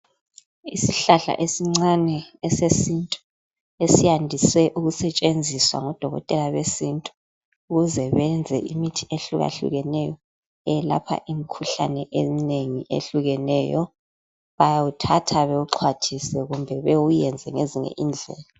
Isihlahla esincane esesintu esiyandise ukusetshenziswa ngodokotela besintu ukuze beyenze imithi ehlukahlukeneyo eyelapha imikhuhlane eminengi ehlukeneyo. Bayawuthatha bewuxhwathise kumbe bewuyenze ngezinye indlela.